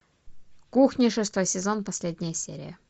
кухня шестой сезон последняя серия